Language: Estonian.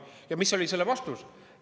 Ja mis oli selle vastus?